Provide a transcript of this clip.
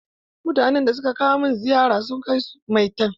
Mutanen da suka kawo min ziyara sun kai maitan.